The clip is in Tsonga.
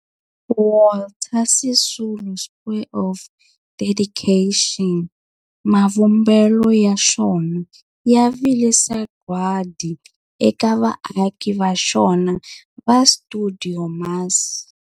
Walter Sisulu Square of Dedication, mavumbelo ya xona ya vile sagwadi eka vaaki va xona va stuidio MAS.